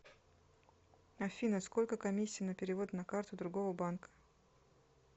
афина сколько комиссия на перевод на карту другого банка